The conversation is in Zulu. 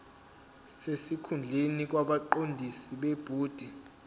sesikhundleni kwabaqondisi bebhodi